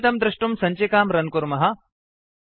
फलितं द्रष्टुं सञ्चिकां रन् कुर्मः